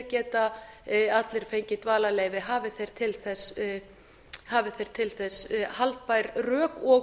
geta allir fengið dvalarleyfi hafi þeir til þess haldbær rök og